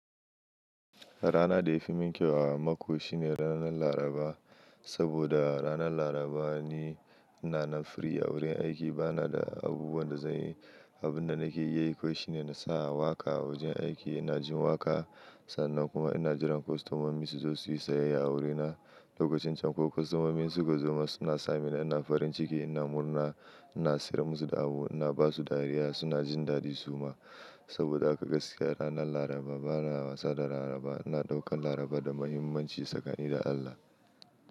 Rana da ya fi min kyau a mako shine ranar Laraba. Saboda ranar Laraba ni na na free a wurin aiki bana da abubuwan da zan yi. Abin da nake yi kawai shine na sa waƙa wurin aiki ina jin waƙa. Sannan kuma ina jiran kwastomomin su zo su yi sayayya a wurina. Lokacin can kuwa kwastomomin su ka zo ma suna sa mina ina farin ciki ina murna ina siyar musu da abu ina ba su dariya suna jin daɗi su ma. Saboda haka gaskiya ranar Laraba bana wasa da Laraba ina ɗaukar Laraba da muhimmanci sakani da Allah.